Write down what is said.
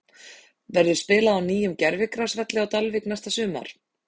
Verður spilað á nýjum gervigrasvelli á Dalvík næsta sumar?